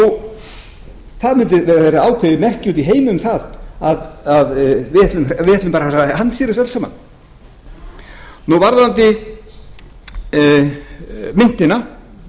það mundi vera ákveðið merki úti í heimi um það að við ætluðum bara að handstýra þessu öllu saman varðandi myntina